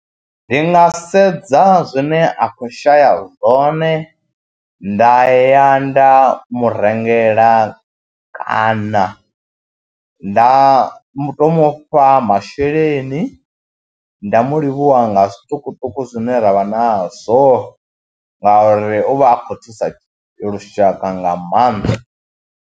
Ndi nga sedza zwine a khou shaya zwone, nda ya nda mu rengela kana nda mu tou mu fha masheleni, nda mu livhuwa nga zwiṱukuṱuku zwine ra vha nazwo ngauri u vha a khou thusa lushaka nga maanḓa.